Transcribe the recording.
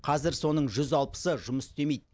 қазір соның жүз алпысы жұмыс істемейді